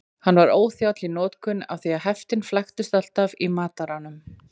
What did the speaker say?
Hann var óþjáll í notkun af því heftin flæktust alltaf í mataranum.